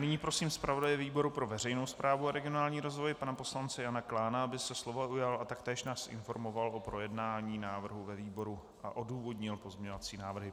Nyní prosím zpravodaje výboru pro veřejnou správu a regionální rozvoj pana poslance Jana Klána, aby se slova ujal a taktéž nás informoval o projednání návrhu ve výboru a odůvodnil pozměňovací návrhy.